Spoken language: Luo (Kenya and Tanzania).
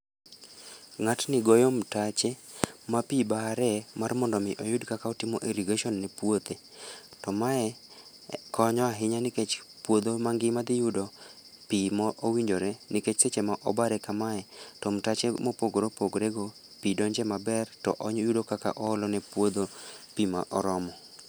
Ng'atni goyo mtache ma pi bare mar mondo omi oyud kaka otimo irrigation ne puothe, to mae konyo ahinya nikech puodho mangima dhiyudo pi mowinjore nikech seche ma obare kamae to mtache mopogore opogore go pi donje maber to oyudo kaka oolone puodho pi ma oromo.